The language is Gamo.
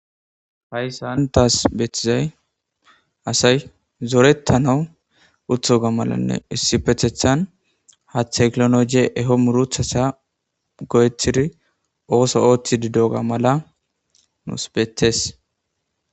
hay sa hantas beththizay asay zorettanawu uthoga malanne issi pethethan haaththe klonoje eho muruthasa go7etiri ooso ooththi didoga mala nuus betes